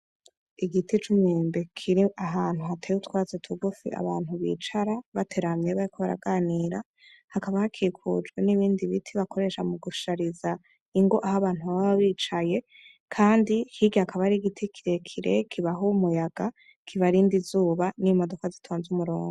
Igiti c'umwembe kir'ahantu hateye utwatsi tugufi abantu bicara bateramye bariko baraganira, hakaba hakikujwe n'ibindi biti bakoresha mu gushariza ingo aho abantu baba bicaye, kandi hirya hakaba har' igiti kire kire kibaha umuyaga kibarinda izuba n'imodoka zitonze umurungo.